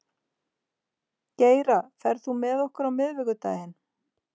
Geira, ferð þú með okkur á miðvikudaginn?